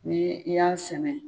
Ni i y'a sɛnɛ